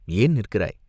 "ஏன் நிற்கிறாய்?